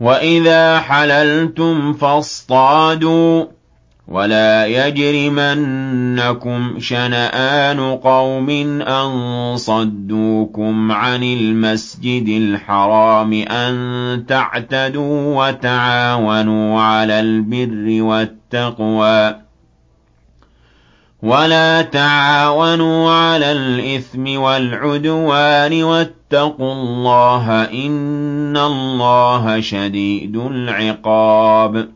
وَإِذَا حَلَلْتُمْ فَاصْطَادُوا ۚ وَلَا يَجْرِمَنَّكُمْ شَنَآنُ قَوْمٍ أَن صَدُّوكُمْ عَنِ الْمَسْجِدِ الْحَرَامِ أَن تَعْتَدُوا ۘ وَتَعَاوَنُوا عَلَى الْبِرِّ وَالتَّقْوَىٰ ۖ وَلَا تَعَاوَنُوا عَلَى الْإِثْمِ وَالْعُدْوَانِ ۚ وَاتَّقُوا اللَّهَ ۖ إِنَّ اللَّهَ شَدِيدُ الْعِقَابِ